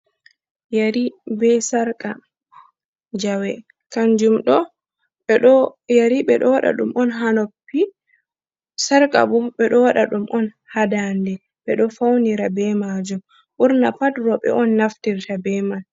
Yeri be sarka, jawe kanjum ɗo yeri ɓeɗo waɗa ɗum on ha noppi, sarka bo ɓeɗo waɗa ɗum on ha ndade ɓeɗo faunira be majum, ɓurna pat roɓe on naftirta be mai.